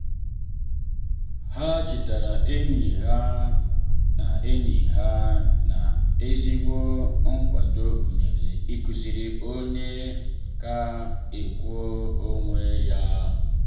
ha chetara enyi ha na enyi ha na ezigbo nkwado gụnyere ịkụziri onye ka o kwụọ onwe ya.